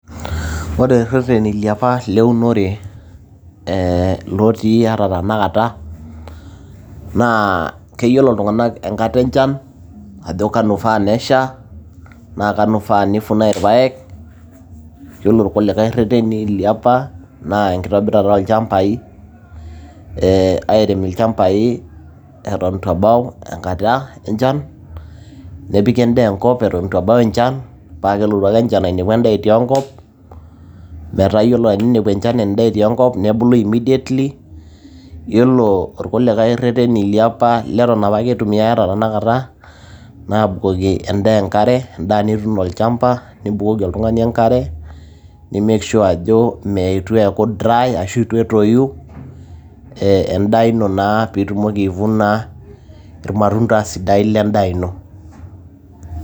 ore irreteni liapa leunore ee lotii ata tenakata naa keyiolo iltung'anak enkata enchan ajo kanu ifaa nesha naa kanu ifaa nifunae irpayek yiolo irkulikae rreteni liapa naa enkitobirata olchambai ee airem ilchambai eton itu ebau enkata enchan nepiki endaa enkop eton itu ebau enchan paa kelotu ake enchan ainepu endaa etii enkop metaa yiolo eninepu enchan endaa etii enkop nebulu immediately yiolo irkulikay rreteni liapa leton apake itumiay ata tenakata naa abukoki endaa enkare endaa nituuno olchamba nibukoki oltung'ani enkare ni make sure ajo mee etu eeku dry ashu etu etoyu ee endaa ino naa piitumoki aivuna irmatunda sidain lendaa ino.